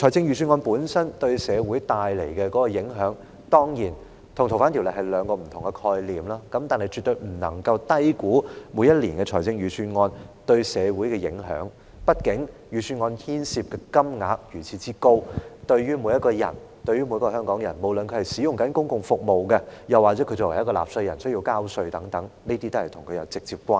預算案本身對社會帶來的影響，當然與修訂《逃犯條例》的影響是屬於兩種不同的性質，但我們絕不能夠低估每年的預算案對社會的影響，畢竟預算案牽涉的金額如此高，對於所有香港人，不論是正領取公共福利的香港人，又或需繳納稅款的香港人，預算案都與他們有直接關係。